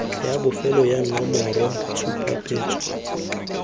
ya bofelo ya nomoro tshupetso